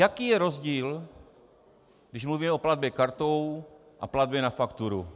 Jaký je rozdíl, když mluvíme o platbě kartou a platbě na fakturu?